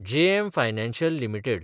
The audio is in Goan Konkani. JM financial limited